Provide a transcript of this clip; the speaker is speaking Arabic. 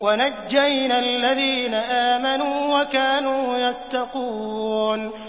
وَنَجَّيْنَا الَّذِينَ آمَنُوا وَكَانُوا يَتَّقُونَ